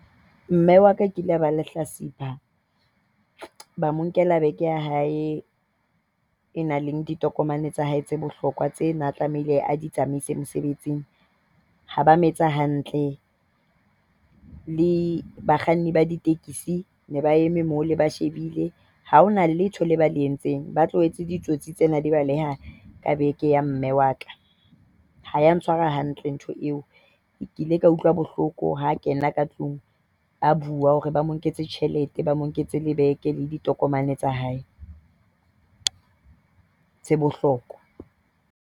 Mme wa ka e kile ya ba lehlatsipa. Ba mo nkela bag ya hae e nang le ditokomane tsa hae tse bohlokwa tseo a ne a tlamehile a di tsamaise mosebetsing. Ha ba a mo etsa hantle. Le bakganni ba ditekesi ne ba eme moo, ba shebile. Ha hona letho le ba le entseng. Ba tlohetse ditsotsi tsena di baleha ka bag ya mme wa ka. Ha e a ntshwara hantle ntho eo. Ke ile ka utlwa bohloko ha a kena ka tlung a bua hore ba mo nketse tjhelete, ba mo nketse le bag le ditokomane tsa hae tsa bohlokwa.